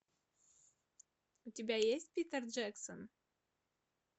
у тебя есть питер джексон